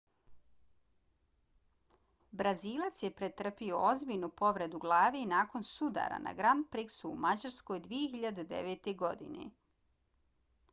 brazilac je pretrpio ozbiljnu povredu glave nakon sudara na grand prixu u mađarskoj 2009. godine